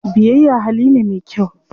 Biyayya hali ne me kyau.